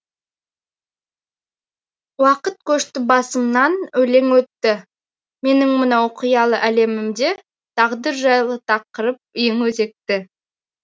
уақыт көшті басымнан өлең өтті менің мынау қиял әлемімде тағдыр жайлы тақырып ең өзекті